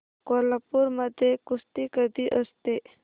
कोल्हापूर मध्ये कुस्ती कधी असते